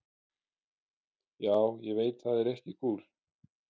Já, ég veit það er ekki kúl.